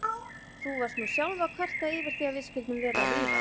Þú varst nú sjálf að kvarta yfir því að við skyldum vera að rífast.